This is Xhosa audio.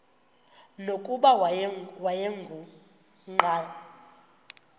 nokuba wayengu nqal